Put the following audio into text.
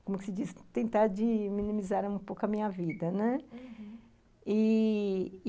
como se diz, tentar minimizar um pouco a minha vida. Uhum... e...